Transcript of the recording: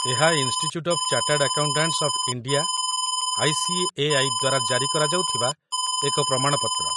ଏହା institute of chartered accountants of India ICAI. ଦ୍ୱାରା ଜାରି କରାଯାଉଥିବା ଏକ ପ୍ରମାଣପତ୍ର